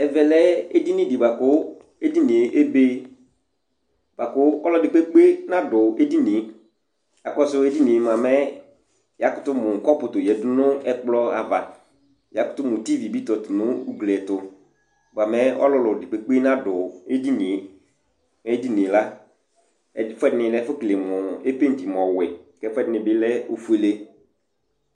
ɛvɛ ɔlɛ éɖɩŋɩ bua ƙʊ éɖɩnɩé ébé ɓʊa ƙu ɔlɔɖɩ ƙpékpé ŋaɖʊ éɖɩŋɩé akusu éɖinié mɛ ƴakutʊ mu ƙɔpu toyaɖu ŋʊ ɛkplɔ aʋa ƴa ƙʊtʊ mʊ ti ɖiɓɩ tɔtʊ ŋʊ ʊglɩ ɛtu mɛ ɔlɔɖi ƙpékpé ŋaɖʊ éɖinɩé éɖiŋié la ɛƒʊɛ ɖɩŋɩ épétɩ ɔwɔɛ ɛfuɖɩŋi ɔlɛ oƒʊélé